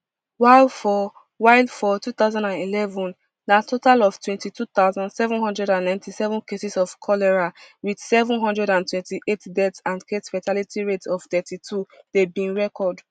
while for while for two thousand and eleven na total of twenty-two thousand, seven hundred and ninety-seven cases of cholera wit seven hundred and twenty-eight deaths and casefatality rate of thirty-two dem bin record